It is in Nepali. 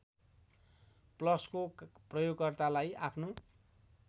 ‌प्लसको प्रयोगकर्तालाई आफ्नो